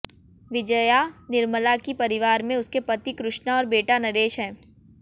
विजया निर्मला की परिवार में उनके पति कृष्णा और बेटा नरेश हैं